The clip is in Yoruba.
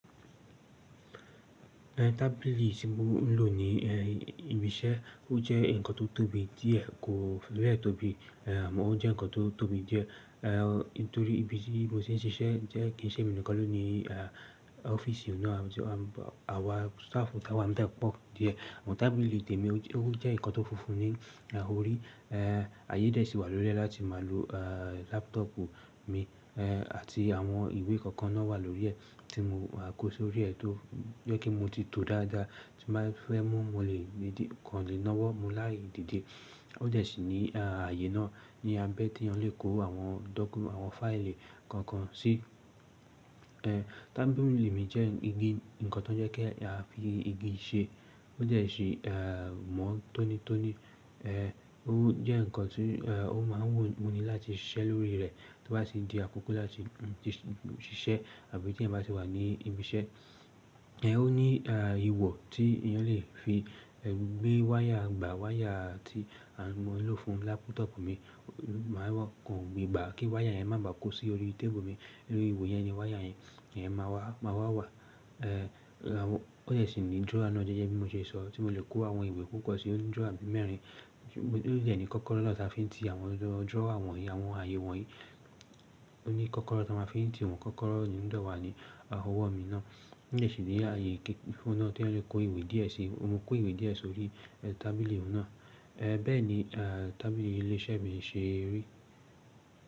Tabili tí mo ń lò ní ibi iṣẹ́ ó jẹ́ nǹkan tó tóbi díẹ̀, kò fibe tóbi, àmọ́ ó jẹ́ nǹkan tó tóbi díẹ̀ nitorí ibi tí mo ti ń ṣiṣẹ́ jẹ́ kí ń ṣe mi nìkan ló ní ọ́fíìsì náà àti àwa staff táwà níbẹ̀ pọ̀ díẹ̀. Àmọ́ tábìlì témi ó jẹ́ nǹkan tó funfun ní ọ̀rì, àyè dẹ́ sí i wà lórí rẹ̀ láti máa lo lápútọ́pù mi àti àwọn ìwé kankan náà wà lórí rẹ̀ tí mo máa kó sórí rẹ̀ tó jẹ́ kí mo ti tó dáadáa tí màá fẹ́ mú, mo lè kan lé náwọ́ mú láìdíde. Ó dẹ̀ síi ní ààyè náà ni a bẹ́ẹ̀ tí a lè kó àwọn dọ́kúmẹ́ǹtì, àwọn fáìlì kankan sí. Tábìlì mi jẹ́ igi, nǹkan tó ń jẹ́ kí a fi igi ṣe. Ó dẹ̀ sí i mọ́n tónítóní, ó jẹ́ nǹkan tí ó máa ń wù mí láti ṣiṣẹ́ lórí rẹ̀ tó bá ti di àkókò láti ṣiṣẹ́ àbí tí ẹ̀ ń bá ti wà ní ibi iṣẹ́. Ó ní ihò tí èyàn lè fi gbé wáyà, gba wáyà tí a máa ń lò fún lápútọ́pù mi, máa kò gbà kí wáyà yẹn má ba kó sí orí tébùlù mi. Nínú ihò yẹn ni wáyà yẹn máa wà wa. Ó dẹ̀ síi ní drawer náà jẹ́jẹ́ bí mo ti ṣe sọ tí mo lè kó àwọn ìwé pupo sí. Ó ní drawer bi mẹ́rin, ó dẹ̀ ní kọ́kọ́rọ́ náà tí a fi ń ti àwọn drawer wọ̀nyí, àwọn ààyè wọ̀nyí. Ó ní kọ́kọ́rọ́ tí a máa fi ń ti wọn, kọ́kọ́rọ́ ni ó dọ̀ wá ní ọwọ́ mi náà. Ó dẹ̀ síi ní ààyè kíkí fún náà tí eyan lè kó ìwé díẹ̀ sí i. Mo kó ìwé díẹ̀ sórí tábìlì náà. Bẹ́ẹ̀ni tábìlì ilé iṣẹ́ mi ṣe rí.